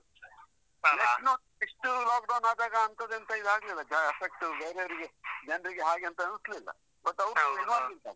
ಇಷ್ಟು lockdown ಆದಾಗ ಅಂತದೆಂತ ಇದಾಗ್ಲಿಲ್ಲ, ಜ effect ಬೇರೆಯವರಿಗೆ ಜನ್ರಿಗೆ ಹಾಗೆ ಎಂತ ಅನಿಸ್ಲಿಲ್ಲ.